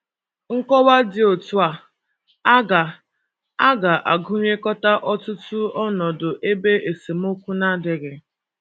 Nkọwa dị otú a ga - a ga - agụnyekọta ọtụtụ ọnọdụ ebe esemokwu na - adịghị.